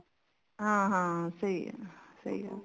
ਹਾਂ ਹਾਂ ਸਹੀ ਹੈ ਸਹੀ